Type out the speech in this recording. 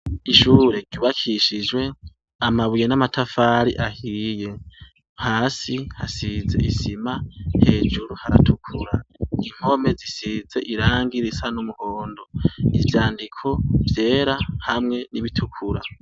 Ishure ryubakishijwe amabuye n’amatafari ahiye, hasi hasize isima hejuru haratukura, impome zisize irangi risa n’umuhondo, ivyandiko vyera hamwe n’ibitikura.